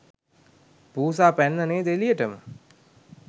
පූසා පැන්නා නේද එළියටම.